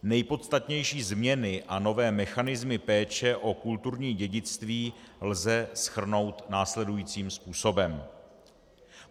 Nejpodstatnější změny a nové mechanismy péče o kulturní dědictví lze shrnout následujícím způsobem.